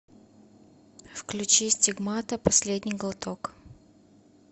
включи стигмата последний глоток